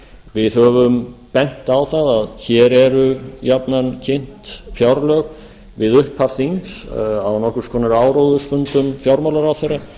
við höfum bent á það að hér eru jafnan kynnt fjárlög við upphaf þings á nokkurs konar áróðursfundum fjármálaráðherra